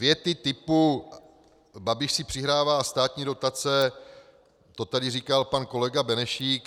Věty typu "Babiš si přihrává státní dotace" - to tady říkal pan kolega Benešík.